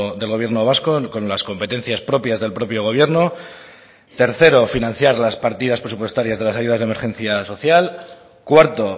del gobierno vasco con las competencias propias del propio gobierno tercero financiar las partidas presupuestarias de las ayudas de emergencia social cuarto